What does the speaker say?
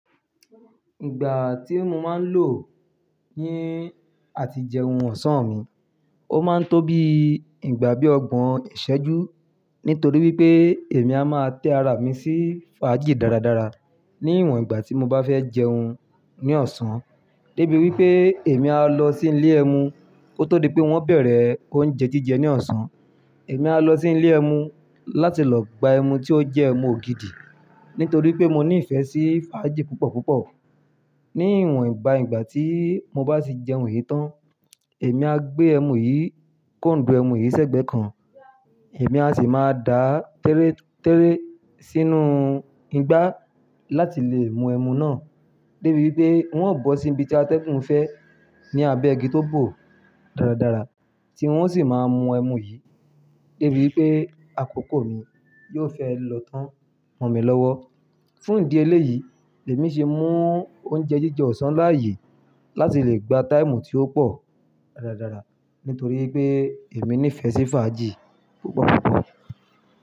Ìgbà tí mo máa ń lò ni àti jẹun ọ̀sán mi, ó máa ń tó bí ìgbà bí ọgbọ̀n ìṣẹ́jú nítorí wípé èmi a máa tẹ́ ara mi sí fàájì dáradára ní ìwòn ìgbà tí mo bá fẹ́ jẹun ní ọ̀sán dé bí wípé èmi a lọ sí ilé ẹmu. Ko tó di pé wón bẹ̀rẹ̀ oúnjẹ jíjẹ ní ọ̀sán, èmi a lọ sí ilé ẹmu láti lọ gba ẹmu tí ó jẹ́ ẹmu ògidì nítorí pé mo ní ìfẹ́ sí fàájì púpọ̀ púpọ̀. Ní ìwòn ìbà ìgbà tí mo bá ti jẹun yìí tán, èmi a gbé ẹmu yìí kóńdù ẹmu yìí sẹ́gbẹ̀ kan. Èmi a sì máa da a tẹ́retẹ́re sínú igbá láti lè mu ẹmu náà dé bí wípé wọn ó bọ́ sí ibi tí ategun fẹ́ ní abẹ́ igi tó bò dáradára tí wón sì máa mú ẹmu yìí dé bí wípé àkókò mi yóò fẹ́ lọ tán mọ mi lọ́wọ́. Fún ìdí eléyìí, èmi ṣe mú oúnjẹ jíjẹ ọ̀sán láàyè láti lè gba táìmù tí ó pọ̀ dáradára nítorí pé èmi ní ìfẹ́ sí fàájì púpọ̀ púpọ̀